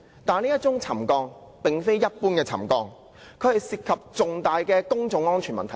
但是，這宗沉降事件並非一般的沉降，主席，它涉及重大的公眾安全問題。